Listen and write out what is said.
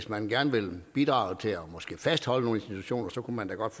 man gerne vil bidrage til måske at fastholde nogle institutioner kunne man da godt